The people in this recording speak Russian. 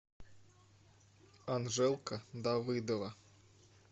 анжелка давыдова